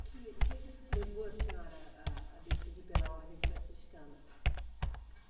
Que, o que que levou a senhora a decidir pela Ordem Franciscana?